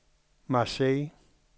Marseilles